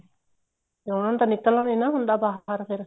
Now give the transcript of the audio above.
ਉਹਨਾ ਨੇ ਤਾਂ ਨਿੱਕਲਣਾ ਨਹੀਂ ਹੁੰਦਾ ਬਾਹਰ ਫ਼ੇਰ